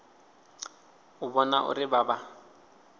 u vhona uri vha vha